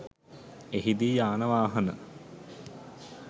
එහිදී යාන වාහන